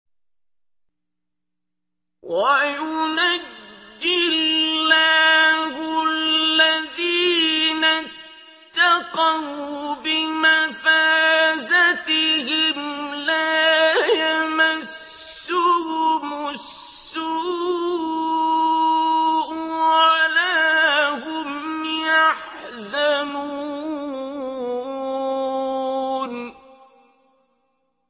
وَيُنَجِّي اللَّهُ الَّذِينَ اتَّقَوْا بِمَفَازَتِهِمْ لَا يَمَسُّهُمُ السُّوءُ وَلَا هُمْ يَحْزَنُونَ